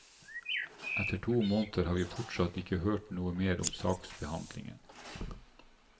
Etter to måneder har vi fortsatt ikke hørt noe mer om saksbehandlingen.